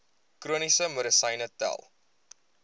chroniese medisyne tel